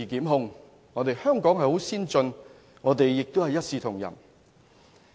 香港是一個先進城市，一視同仁。